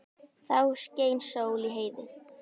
Þá skein sól í heiði.